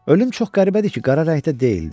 Ölüm çox qəribədir ki, qara rəngdə deyildi.